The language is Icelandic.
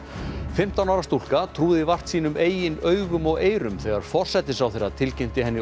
fimmtán ára stúlka trúði vart sínum eigin augum og eyrum þegar forsætisráðherra tilkynnti henni